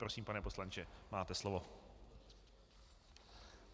Prosím, pane poslanče, máte slovo.